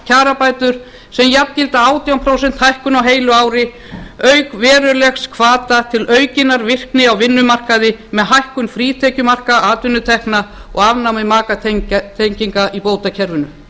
kjarabætur sem jafngilda átján prósent hækkun á heilu ári auk verulegra hvata til aukinnar virkni á vinnumarkaði með hækkun frítekjumarka atvinnutekna og afnámi makatenginga í bótakerfinu